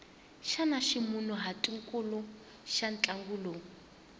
xana ximunhuhatwankulu xa ntlangu lowu